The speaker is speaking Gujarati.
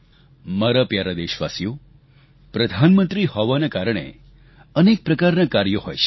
મારા પ્યારા દેશવાસીઓ પ્રધાનમંત્રી હોવાના કારણે અનેક પ્રકારના કાર્ય હોય છે